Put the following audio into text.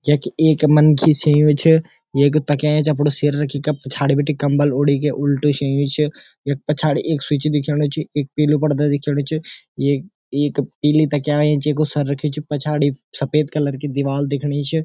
यख एक मनखी सियूँ छ येक तकिया एैंच अपडू सिर रखी के पिछाड़ी बटे कम्बल ओडी के उल्टू शियूँ च यख पछाड़ी एक स्विच दिखयूंणु छ एक पीलू पड़दा दिखयूंणु च येक एक पीली तकिया एैंच येकु सर रख्युं छ पछाड़ी सफ़ेद कलर की दिवाल दिखणी च।